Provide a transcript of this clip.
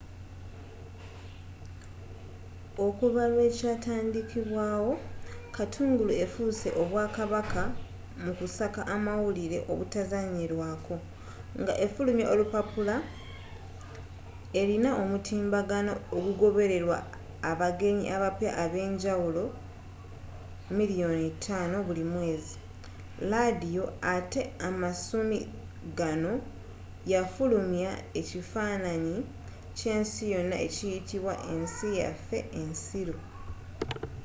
okuva lwe kyatandikibwawo katungulu efuuse obwakabaka mu kusaka amawulire obutazzanyirwako nga efulumya olupapula erina omutimbagano ogugobererwa abagenyi abapya abenjawulo 5,000,000 buli mwezi laadiyo atte amasumi ganno yafulumya ekifaananyi ky’ensi yonna ekiyitibwa ensi yaffe ensiru